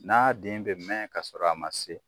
N'a den bɛ mɛn ka sɔrɔ a man se.